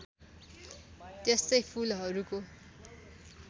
त्यस्तै फुलहरूको